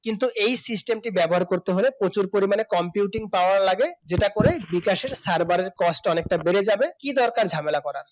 কিন্তু এই system টি ব্যবহার করতে হলে প্রচুর পরিমাণে computing power লাগে যেটা করে বিকাশের server র cost অনেকটা বেড়ে যাবে কি দরকার ঝামেলা করার